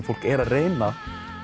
fólk er að reyna